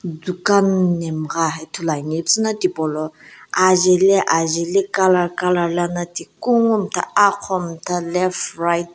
dukan nhemgha ithuluani ipuzuna hipolo ajeli ajeli color color lana ti kungu mtha aqou mtha left right .